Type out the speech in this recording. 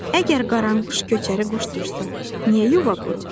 Əgər qaranquş köçəri quşdursa, niyə yuva qurur?